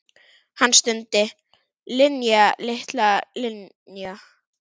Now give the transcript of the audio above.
Hann stundi: Linja, litla Linja.